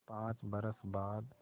पाँच बरस बाद